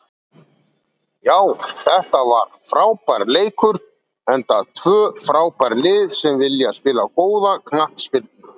Já þetta var frábær leikur enda tvö frábær lið sem vilja spila góða knattspyrnu.